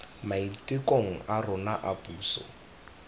maitekong a rona a puso